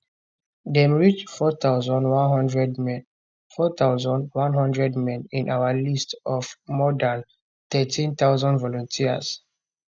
dem reach 4100 men 4100 men in our list of more dan 13000 volunteers